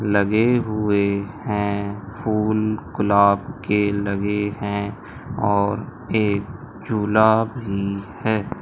लगे हुए हैं फूल गुलाब के लगे हैं और एक झूला भी है।